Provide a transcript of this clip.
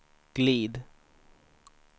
glid